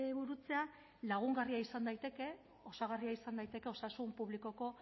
burutzea lagungarria izan daiteke osagarria izan daiteke osasun publikoko